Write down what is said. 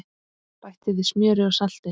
Bætti við smjöri og salti.